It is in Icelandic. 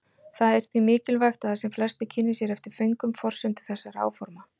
Það er því mikilvægt að sem flestir kynni sér eftir föngum forsendur þessara áforma.